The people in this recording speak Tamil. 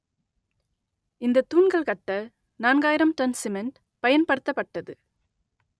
இந்த தூண்கள் கட்ட நான்காயிரம் டன் சிமெண்ட் பயன்படுத்தப்பட்டது